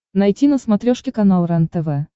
найти на смотрешке канал рентв